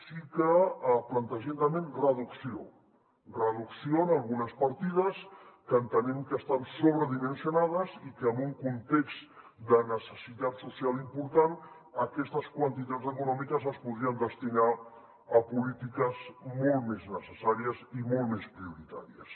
sí que plantegem també reducció reducció en algunes partides que entenem que estan sobredimensionades i que en un context de necessitat social important aquestes quantitats econòmiques es podrien destinar a polítiques molt més necessàries i molt més prioritàries